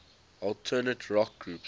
alternative rock groups